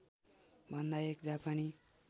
भन्दा एक जापानी